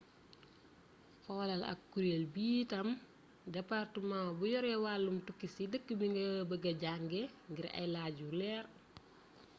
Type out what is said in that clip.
xolal ak kureel bi itam departemaa bu yore wàllum tukki ci dëkk bi nga bëgë jànge ngir ay laaj yu leer